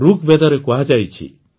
ଋଗବେଦରେ କୁହାଯାଇଛି